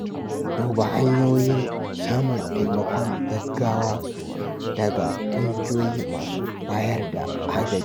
Duba hanyoyin samun taimakon gaggawa daga ƙungiyoyi masu bayar da agaji.